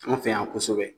An fɛ yan kosɛbɛ